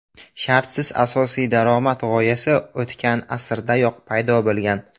Shartsiz asosiy daromad g‘oyasi o‘tgan asrdayoq paydo bo‘lgan.